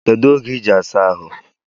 Kedu oge iji asa ahụ?